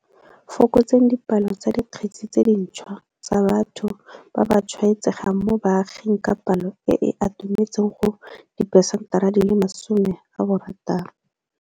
Fokotseng dipalo tsa dikgetse tse dintšhwa tsa batho ba ba tshwaetsegang mo baaging ka palo e e atumetseng go 60 percent.